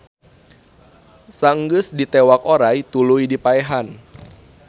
Saeunggeus ditewak oray tuluy dipaehan